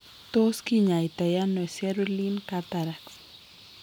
Tos tot kinyaitaano cerulean cataracts?